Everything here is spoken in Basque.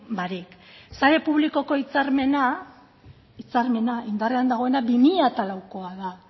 barik sare publikoko hitzarmena hitzarmena indarrean dagoena bi mila laukoa da